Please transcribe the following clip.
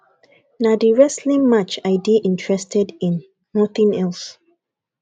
na the wrestling match i dey interested in nothing else